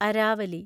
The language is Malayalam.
അരാവലി